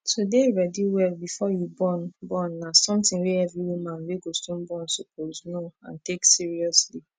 to dey ready well before you born born na something wey every woman wey go soon born suppose know and take seriously